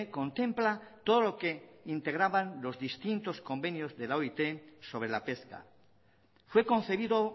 contempla todo lo que integraban los distintos convenios de la oit sobre la pesca fue concebido